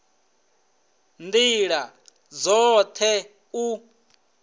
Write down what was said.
nd ila dzot he u